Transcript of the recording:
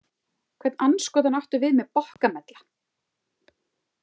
Hvern andskotann áttu við með“ bokkamella „?